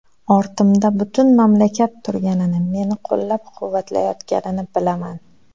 Ortimda butun mamlakat turganini, meni qo‘llab-quvvatlayotganini bilaman.